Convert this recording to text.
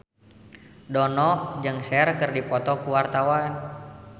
Dono jeung Cher keur dipoto ku wartawan